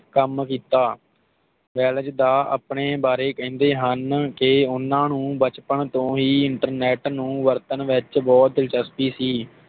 ਕੰਮ ਕੀਤਾ ਵੈਲਜ਼ ਦਾ ਆਪਣੇ ਬਾਰੇ ਕਹਿੰਦੇ ਹਨ ਕਿ ਓਹਨਾ ਨੂੰ ਬਚਪਨ ਤੋਂ ਹੀ ਇੰਟਰਨੇਟ ਨੂੰ ਵਰਤਣ ਵਿਚ ਬੋਹੋਤ ਦਿਲਚਸਪੀ ਸੀ